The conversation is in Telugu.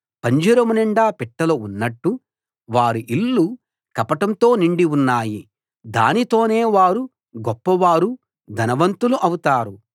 పంజరం నిండా పిట్టలు ఉన్నట్టు వారి ఇళ్ళు కపటంతో నిండి ఉన్నాయి దానితోనే వారు గొప్పవారు ధనవంతులు అవుతారు